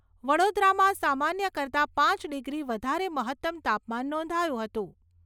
વડોદરામાં સામાન્ય કરતાં પાંચ ડિગ્રી વધારે મહત્તમ તાપમાન નોંધાયુ હતું.